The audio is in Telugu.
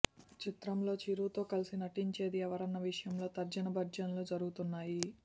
ఈ చిత్రంలో చిరుతో కలసి నటించేది ఎవరన్న విషయంలో తర్జన భర్జనలు జరుగుతున్నాయి